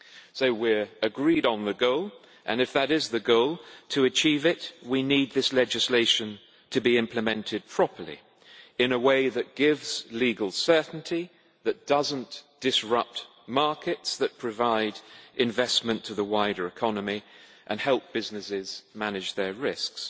So we are agreed on the goal, and if that is the goal, to achieve it we need this legislation to be implemented properly, in a way which gives legal certainty, and which does not disrupt markets that provide investment to the wider economy and help businesses manage their risks.